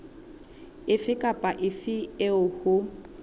efe kapa efe eo ho